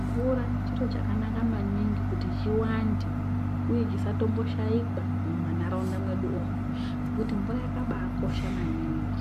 Mvura chiro chakanaka maningi kuti chiwande, uye chisatomboshaikwa mumanharaunda mwedu umwu ngekuti mvura yakabaakosha maningi.